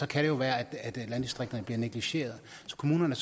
kan det jo være at landdistrikterne bliver negligeret så kommunerne